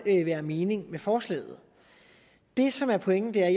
være mening med forslaget det som er pointen er